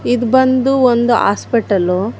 ಇದು ಬಂದು ಒಂದು ಹಾಸ್ಪಿಟಲ್ .